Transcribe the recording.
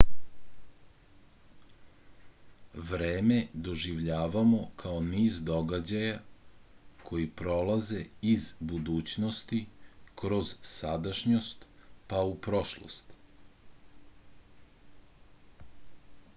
vreme doživljavamo kao niz događaja koji prolaze iz budućnosti kroz sadašnjost pa u prošlost